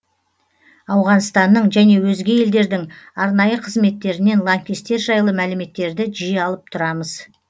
ауғанстанның және өзге елдердің арнайы қызметтерінен лаңкестер жайлы мәліметтерді жиі алып тұрамыз